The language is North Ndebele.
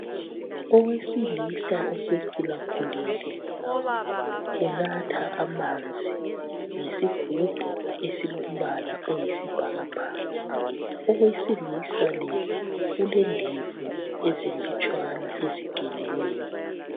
Owesilisa osekhulakhulile unatha amanzi ngesigumbu esilombala oyisibhakabhaka owesilisa lo ulendevu ezilutshwana ezigeliweyo.